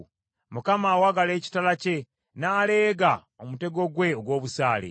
Mukama awagala ekitala kye n’aleega omutego gwe ogw’obusaale.